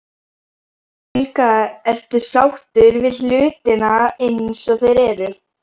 Helga: Ertu sáttur við hlutina eins og þeir eru?